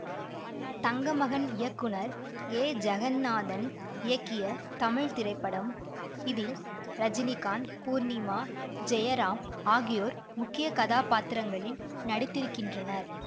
தங்கமகன் இயக்குனர் ஏ ஜெகந்நாதன் இயக்கிய தமிழ் திரைப்படம் இதில் ரஜினிகாந்த் பூர்ணிமா ஜெயராம் ஆகியோர் முக்கிய கதாபாத்திரங்களில் நடித்திருக்கின்றனர்